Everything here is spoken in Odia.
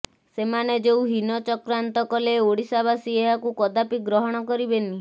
ସେମାନେ ଯେଉଁ ହୀନ ଚକ୍ରାନ୍ତ କଲେ ଓଡ଼ିଶାବାସୀ ଏହାକୁ କଦାପି ଗ୍ରହଣ କରିବେନି